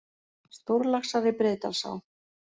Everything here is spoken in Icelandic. Stórlaxar í Breiðdalsá